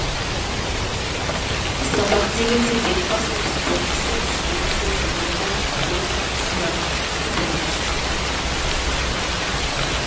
сабақ дегенде бет басып спорт десе ішкен асты жерге қоятын көп жуәрмектің біріміз